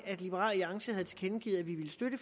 at liberal alliance havde tilkendegivet at vi ville støtte